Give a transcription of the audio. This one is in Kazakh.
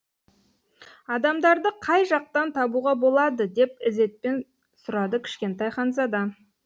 адамдарды қай жақтан табуға болады деп ізетпен сұрады кішкентай ханзада